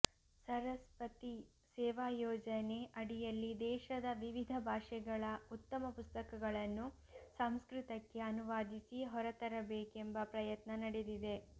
ಸರಸ್ಪತಿ ಸೇವಾಯೋಜನೆ ಅಡಿಯಲ್ಲಿ ದೇಶದ ವಿವಿಧ ಭಾಷೆಗಳ ಉತ್ತಮ ಪುಸ್ತಕಗಳನ್ನು ಸಂಸ್ಕೃತಕ್ಕೆ ಅನುವಾದಿಸಿ ಹೊರತರ ಬೇಕೆಂಬ ಪ್ರಯತ್ನ ನಡೆದಿದೆ